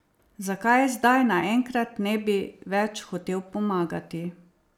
Zakaj zdaj naenkrat ne bi več hotel pomagati?